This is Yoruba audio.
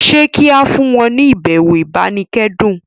ṣe ki a fún wọn ni ibẹwo ibanikẹdun?